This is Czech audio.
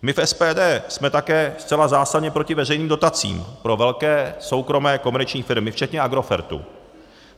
My v SPD jsme také zcela zásadně proti veřejným dotacím pro velké soukromé komerční firmy - včetně Agrofertu.